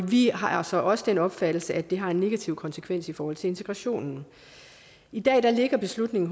vi har så også den opfattelse at det har en negativ konsekvens i forhold til integrationen i dag ligger beslutningen